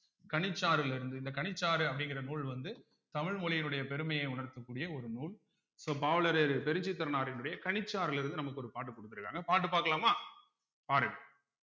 கனிச்சாறிலிருந்து இந்த கனிச்சாறு அப்படிங்கிற நூல் வந்து தமிழ் மொழியினுடைய பெருமையை உணர்த்தக்கூடிய ஒரு நூல் so பாவலரேறு பெருஞ்சித்திரனாரினுடைய கனிச்சாறிலிருந்து நமக்கு ஒரு பாட்டு கொடுத்திருக்காங்க பாட்டு பார்க்கலாமா பாருங்க